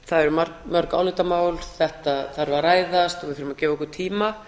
það eru mörg álitamál þetta þarf að ræða við þurfum að gefa okkur tíma